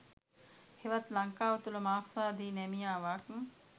හෙවත් ලංකාව තුළ මාක්ස්වාදී නැමියාවක්